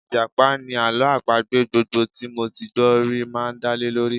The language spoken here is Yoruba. Ìjàpá ni àlọ́ àpagbè gbogbo tí mo ti gbọ́ rí máa ń dálé lórí